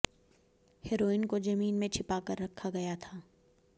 heroin को जमीन में छिपा कर रखा गया था